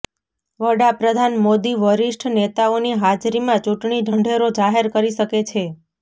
વડાપ્રધાન મોદી વરિષ્ઠ નેતાઓની હાજરીમાં ચૂંટણી ઢંઢેરો જાહેર કરી શકે છે